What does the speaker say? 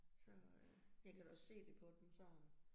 Så øh jeg kan da også se det på dem sådan